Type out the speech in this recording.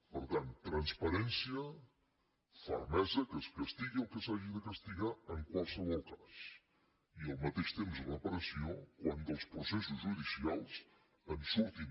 per tant transparència fermesa que es castigui el que s’hagi de castigar en qualsevol cas i al mateix temps reparació quan dels processos judicials en surtin